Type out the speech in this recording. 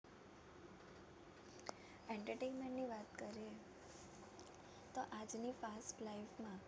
Entertainment ની વાત કરીએ તો આજની fast life માં